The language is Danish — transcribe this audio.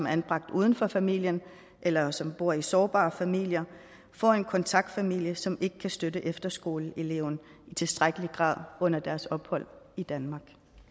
er anbragt uden for familien eller som bor i sårbare familier får en kontaktfamilie som ikke kan støtte efterskoleeleven i tilstrækkelig grad under opholdet i danmark